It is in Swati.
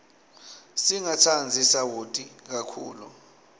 singatsandzi sawoti kakhulu